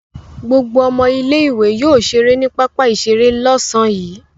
Gbogbo ọmọ ilé-ìwé yóò ṣeré ní pápá-ìṣeré lọ́sàn-án yìí.